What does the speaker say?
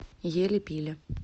ели пили